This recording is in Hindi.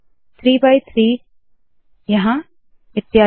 3 बाय 3 यहाँ इत्यादि